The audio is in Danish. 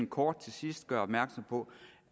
kort til sidst gøre opmærksom på